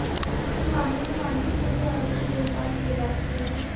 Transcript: इस मामले में वांछित सभी आरोपी गिरफ्तार किए जा चुके हैं